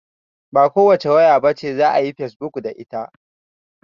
Ba kowace waya bace za'a iya yin fesbuk da ita